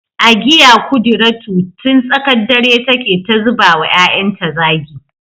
Agiya kudiratu tun tsakar dare take ta zuba wa ‘ya’yanta zagi